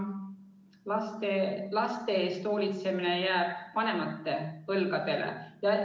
Laste eest hoolitsemine jääb ikka vanemate õlgadele.